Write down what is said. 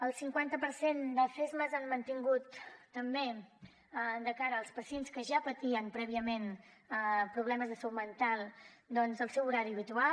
el cinquanta per cent dels csmas han mantingut també de cara als pacients que ja patien prèviament problemes de salut mental doncs el seu horari habitual